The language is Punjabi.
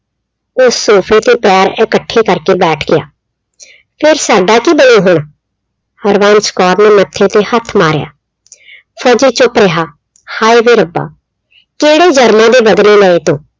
ਉਹ sofa ਤੇ ਪੈਰ ਇਕੱਠੇ ਕਰ ਕੇ ਬੈਠ ਗਿਆ। ਫਿਰ ਸਾਡਾ ਕੀ ਬਣੂ ਹੁਣ, ਹਰਬੰਸ ਕੌਰ ਨੇ ਮੱਥੇ ਤੇ ਹੱਥ ਮਾਰਿਆ। ਫੌਜੀ ਚੁੱਪ ਰਿਹਾ। ਹਾਏ ਵੇ ਰੱਬਾ ਕਿਹੜੇ ਜਨਮਾਂ ਦੇ ਬਦਲੇ ਲਏ ਤੂੰ